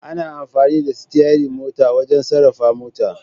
Ana amfani da Sityarir mota wajan sarrafa motar